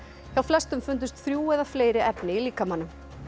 hjá flestum fundust þrjú eða fleiri efni í líkamanum